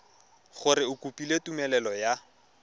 gore o kopile tumelelo ya